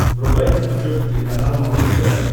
врубай на смотрешке телеканал малыш тв